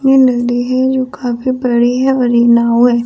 ये नदी है जो काफी बड़ी है और ये नाव है।